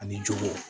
Ani jogu